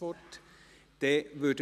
– Er wünscht das Wort nicht.